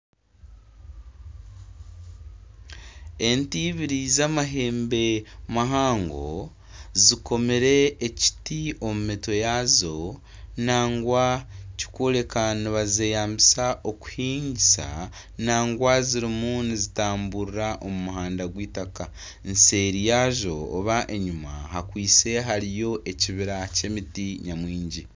Ente ibiri z'amahembe mahango zikomire ekiti omu mitwe yaazo nangwa ekirikworeka ngu nibazeyambisa omu kuhinga nangwa zirimu nizitamburira omu muhanda gw'itaka, eseeri yaazo nari enyima hariyo ekibira ky'emiti nyamwingi